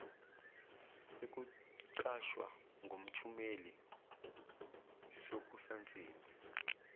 sokuqashwa ngomthumile sokusansimbi